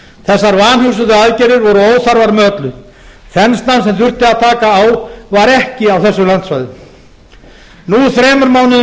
þessar vanhugsuðu aðgerðir voru óþarfar með öllu þenslan sem þurfti að taka á var ekki á þessum landsvæðum nú þremur mánuðum